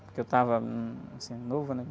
Porque eu estava, hum, assim, novo, né?